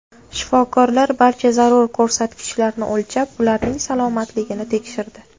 Shifokorlar barcha zarur ko‘rsatkichlarni o‘lchab, ularning salomatligini tekshirdi.